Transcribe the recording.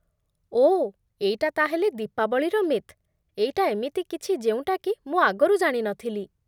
ଓଃ, ଏଇଟା ତା'ହେଲେ ଦୀପାବଳିର ମିଥ୍ । ଏଇଟା ଏମିତି କିଛି ଯେଉଁଟାକି ମୁଁ ଆଗରୁ ଜାଣି ନଥିଲି ।